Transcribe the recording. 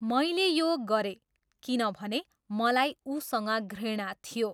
मैले यो गरेँ, किनभने मलाई उसँग घृणा थियो।